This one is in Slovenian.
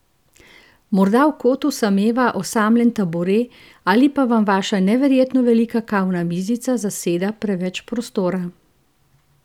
Morda v kotu sameva osamljen tabure ali pa vam vaša neverjetno velika kavna mizica zaseda preveč prostora?